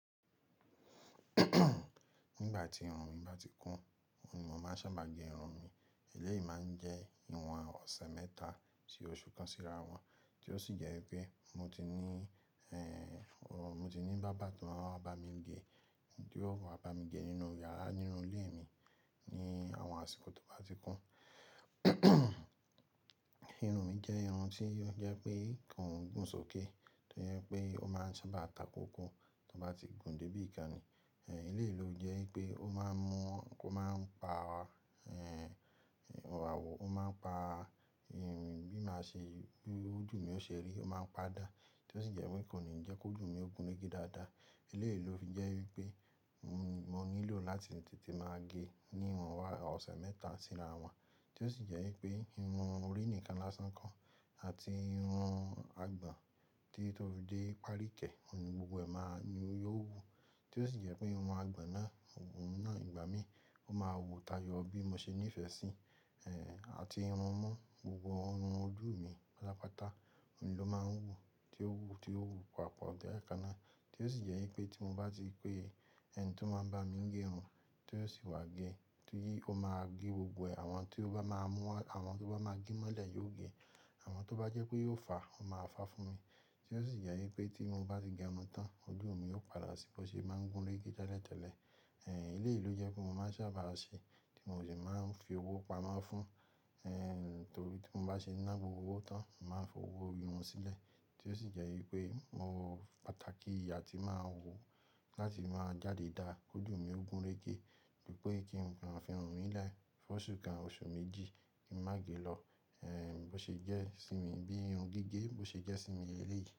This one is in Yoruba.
Nígbà tí irun mi bá ti kún, òun ni màá ń sábà gẹ irun mi. Eléyìí máa ń jẹ́ ìwọ̀n ọ̀sẹ̀ mẹ́ta sí oṣù kan síra wọn, tí ó sì jẹ́ wípé mo ti ní, mo ti ní bábà tó máa ń wá bá mi gẹ, tí ó wà bá mi gẹ nínú yàrá nínú ilé mi ní àwọn àsìkò tó bá ti kún. Irun mi jẹ́ irun tí ó jẹ́ pé kò ń gùn sókè, tí ó jẹ́ pé ó máa ń sábà takòkò tí ó bá ti gùn dé ibi kan ni. Eléyìí ló jẹ́ wípé ó máa ń mú, kó máa ń pa, ìwà wò, ó máa ń pa, bí máa ṣe, bí ojú mi ó ṣe rí, ó máa ń padà. Tí ó sì jẹ́ wípé kò ní jẹ́ kojú mi ó gùn rege dáadáa. Eléyìí ló fi jẹ́ wípé mo nílò láti tètè máa gẹ ní ìwọ̀n ọ̀sẹ̀ mẹ́ta síra wọn, tí ó sì jẹ́ wípé irun orí nìkan lásán kọ́ àti irun àgbọ̀n títí tó fi dé párikẹ̀, òun ni gbogbo ẹ̀ máa ni ó wù. Tí ó sì jẹ́ pé irun àgbọ̀n náà, òun náà ìgbà mí, ó máa wù tayọ bí mo ṣe nífẹ̀ẹ́ sí. Àti irun imú, gbogbo irun ojú mi pátápátá, òun ló máa ń wù tí ó wù, tí ó wù papọ̀ lẹ́ẹ̀ kan ná. Tí ó sì jẹ́ wípé tí mo bá ti pé ẹni tí ó máa ń bá mi gẹ irun, tí ó sì wá gẹ, tí ó máa gẹ gbogbo ẹ̀, àwọn tí ó bá máa mú, àwọn tó bá máa gẹ mọ́lẹ̀ yóò gẹ. Àwọn tó bá jẹ́ pé yóò fà, ó máa fà fún mi. Tí ó sì jẹ́ wípé tí mo bá ti gẹ irun tán, ojú mi yóò padà sí bọ̀ ṣe máa ń gùn rege tẹ́lẹ̀tẹ́lẹ̀. Eléyìí ló jẹ́ pé mo máa ń sábà ṣe tí mo sì máa ń fi owó pamọ́ fún. Torí tí mo bá ṣe ná gbogbo owó tán, mo màá fi owó irun sílẹ̀. Tí ó sì jẹ́ wípé mo rò pàtàkì a tí máa wù láti máa jáde dáa, kojú mi ó gùn régè. Ju pé kí n kan fi irun mi lẹ́, fún oṣù kan oṣù méjì kí n má gẹ lọ. Ẹ́ẹ́, bó ṣe jẹ́ sí mi bí irun gígé, bó ṣe jẹ́ sí mi eléyìí.